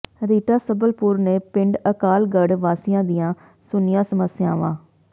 ਰੀਟਾ ਸਬਲਪੁਰ ਨੇ ਪਿੰਡ ਅਕਾਲਗੜ੍ਹ ਵਾਸੀਆਂ ਦੀਆਂ ਸੁਣੀਆਂ ਸਮੱਸਿਆਵਾਂ